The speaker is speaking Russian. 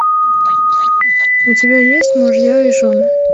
у тебя есть мужья и жены